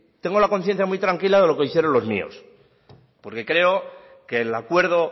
tengo la conciencia muy tranquila de lo que hicieron los míos porque creo que el acuerdo